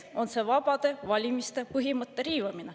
Ka on tegu vabade valimiste põhimõtte riivamisega.